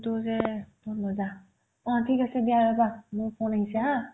অ ঠিক আছে দিয়া ৰ'বা মোৰ ফোন আহিছে haa